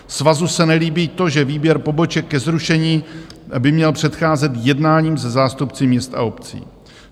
Svazu se nelíbí to, že výběr poboček ke zrušení by měl předcházet jednáním se zástupci měst a obcí.